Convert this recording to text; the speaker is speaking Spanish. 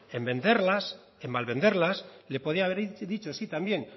en venderlas en malvenderlas le podía haber dicho sí también